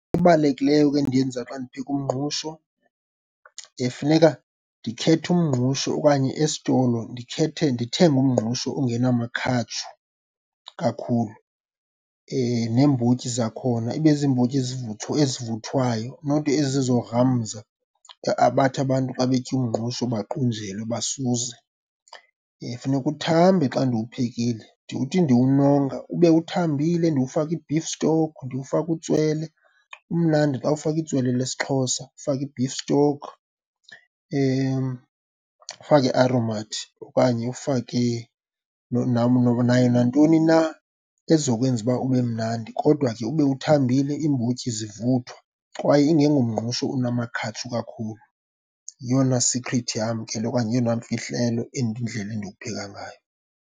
Ebalulekileyo ke endiyenza xa ndipheka umngqusho, funeka ndikhethe umngqusho okanye esitolo ndikhethe ndithenge umngqusho ongenamakhatshu kakhulu neembotyi zakhona ibe ziimbotyi ezivuthwayo, not ezizogramza bathi abantu xa betya umngqusho baqunjelwe, basuze. Funeka uthambe xa ndiwuphekile, ndithi ndiwunonga ube uthambile, ndiwufake i-beef stock, ndiwufake utswele. Umnandi xa ufakwe itswele lesiXhosa, ufake i-beef stock, ufake iAromat okanye ufake nayo nantoni na ezokwenza uba ube mnandi kodwa ke ube uthambile, iimbotyi zivuthwa kwaye ingengomngqusho unamakhatshu kakhulu. Yeyona sikhrithi yam ke le okanye yeyona mfihlelo and indlela endiwupheka ngayo.